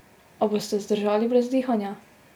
A boste zdržali brez dihanja?